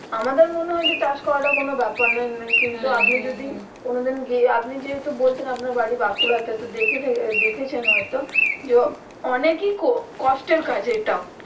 আমাদের মনে হয় যে চাষ করাটা কোনো বেপার নই কিন্তু আপনি যদি কোনো দিন গিয়ে আপনি যেহেতু বলছেন আপনার বাড়ি বাঁকুড়া তে তো দেখেছে দেখেছেন হয় তো যে অনেকি কষ্টের কাজ এটা ও